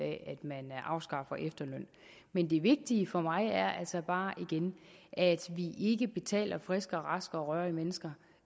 at man afskaffer efterlønnen men det vigtige for mig er altså bare igen at vi ikke betaler friske raske og rørige mennesker